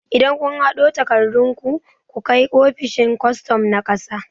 Idan kun haɗo takardun ku, ku kai ofishin kwastom na ƙasa